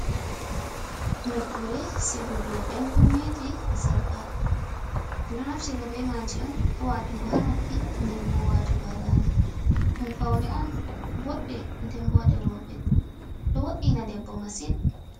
Nokkure sigugo enkuneji e sarka do naftira be maji on hawatugo ha noppi denbbo watugo hadande dum faune on bodde dembo derobe do wod’ina debbo massin